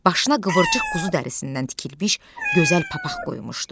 Başına qıvırcıq quzu dərisindən tikilmiş gözəl papaq qoymuşdu.